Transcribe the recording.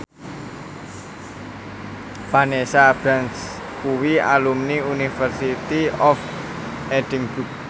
Vanessa Branch kuwi alumni University of Edinburgh